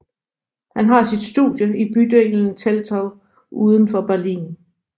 Han har sit studie i bydelen Teltow udenfor Berlin